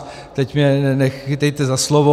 Teď mě nechytejte za slovo.